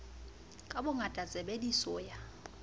ka bongata tshebe diso ya